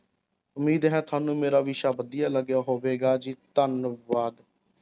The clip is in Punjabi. ਉਮੀਦ ਹੈ ਤੁਹਾਨੂੰ ਮੇਰਾ ਵਿਸ਼ਾ ਵਧੀਆ ਲੱਗਿਆ ਹੋਵੇਗਾ ਜੀ, ਧੰਨਵਾਦ।